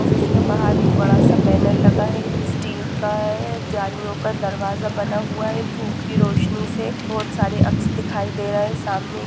इसके बाहर एक बड़ा सा बैनर लगा हुआ है स्टील का है जालियों का दरवाजा बना हुआ है धूप की रोशनी से बहुत सारे अक्ष दिखाई दे रहे हैं सामने--